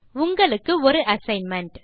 உங்களுக்கு ஒரு அசைன்மென்ட்